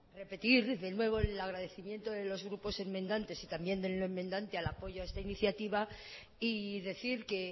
repetir de nuevo el agradecimiento de los grupos enmendantes y también del no enmandante al apoyo a esta iniciativa y decir que